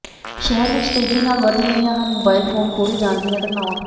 ਸ਼ਹਿਰ ਵਿੱਚ ਤੇਜੀ ਨਾਲ ਵੱਧ ਰਹੀਆਂ ਹਨ ਮੋਬਾਈਲ ਫੋਨ ਖੋਹੇ ਜਾਣ ਦੀਆਂ ਘਟਨਾਵਾਂ